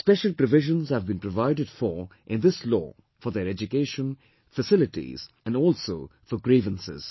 Special provisions have been provided for in this Law for their education, facilities and also for grievances